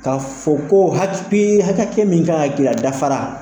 Ka fɔ koo hatpii hakɛ hakɛ min kan ŋa k'i la a dafara.